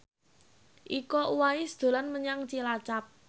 Iko Uwais dolan menyang Cilacap